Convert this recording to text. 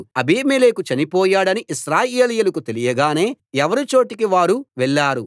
అబీమెలెకు చనిపోయాడని ఇశ్రాయేలీయులకు తెలియగానే ఎవరి చోటికి వాళ్ళు వెళ్ళారు